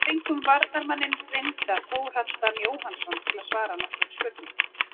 Við fengum varnarmanninn reynda Þórhall Dan Jóhannsson til að svara nokkrum spurningum.